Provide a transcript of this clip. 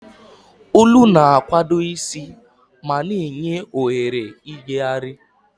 Olu na-akwado isi ma na-enye ohere ijegharị.